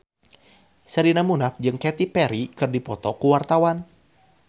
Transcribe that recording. Sherina Munaf jeung Katy Perry keur dipoto ku wartawan